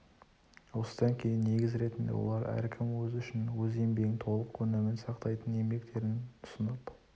осыдан кейін негіз ретінде олар әркім өзі үшін өз еңбегінің толық өнімін сақтайтын еңбектерін ұсынып